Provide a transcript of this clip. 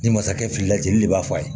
Ni masakɛkɛ filila jeli le b'a fɔ a ye